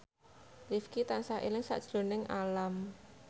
Rifqi tansah eling sakjroning Alam